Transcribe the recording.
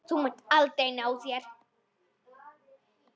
Þú munt aldrei ná þér.